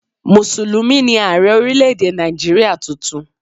Mùsùlùmí ni Ààrẹ́ orílé-èdè Nàìjíríà tuntun